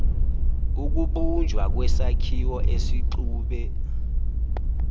ukubunjwa kwesakhiwo esixube